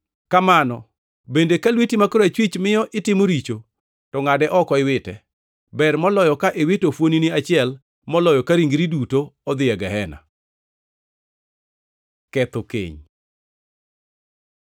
Kamano bende ka lweti ma korachwich miyo itimo richo, to ngʼade oko iwite. Ber moloyo ka iwito fuon-ni achiel moloyo ka ringri duto odhi e gehena. Ketho keny